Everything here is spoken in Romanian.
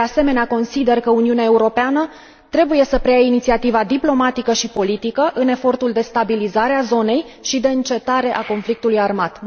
De asemenea, consider că Uniunea Europeană trebuie să preia inițiativa diplomatică și politică în efortul de stabilizare a zonei și de încetare a conflictului armat.